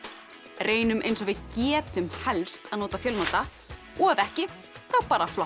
reynum eins og við getum helst að nota fjölnota og ef ekki þá bara flokka